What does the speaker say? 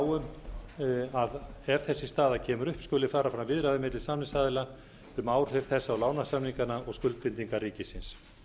um að ef þessi staða kemur upp skuli fara fram viðræður milli samningsaðila um áhrif þess á lánasamningana og skuldbindingar ríkisins